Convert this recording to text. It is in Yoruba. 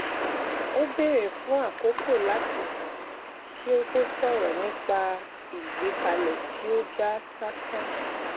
ó béèrè fún àkókò láti sàn kí ó tó ṣòrọ nípa ìgbẹkẹlé tí ó já sásán